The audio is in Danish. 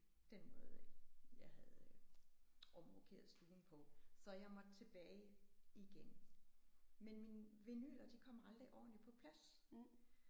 Den måde jeg havde omrokeret stuen på så jeg måtte tilbage igen. Men mine vinyler de kom aldrig ordentligt på plads